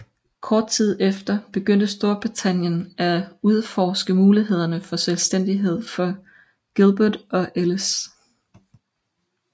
Kort tid efter begyndte Storbritannien at udforske mulighederne for selvstændighed for Gilbert og Ellice